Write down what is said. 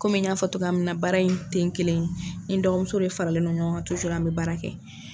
Kɔmi ny'a fɔ ɲɛna togo min , n kelenntɛ, ni n dɔgɔmuso de faralen don ɲɔgɔn kan an bɛ baara kɛ.